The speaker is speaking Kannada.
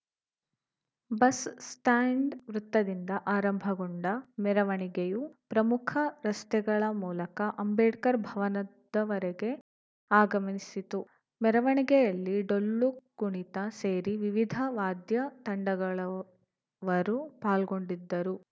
ಬಸ್‌ ಸ್ಟಾಂಡ್ ವೃತ್ತದಿಂದ ಆರಂಭಗೊಂಡ ಮೆರವಣಿಗೆಯು ಪ್ರಮುಖ ರಸ್ತೆಗಳ ಮೂಲಕ ಅಂಬೇಡ್ಕರ್‌ ಭವನದವರೆಗೆ ಆಗಮಿಸಿತು ಮೆರವಣಿಗೆಯಲ್ಲಿ ಡೊಳ್ಳು ಕುಣಿತ ಸೇರಿ ವಿವಿಧ ವಾದ್ಯ ತಂಡಗಳವರು ಪಾಲ್ಗೊಂಡಿದ್ದರು